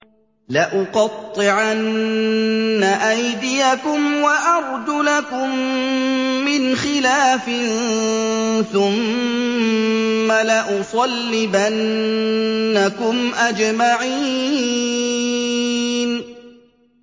لَأُقَطِّعَنَّ أَيْدِيَكُمْ وَأَرْجُلَكُم مِّنْ خِلَافٍ ثُمَّ لَأُصَلِّبَنَّكُمْ أَجْمَعِينَ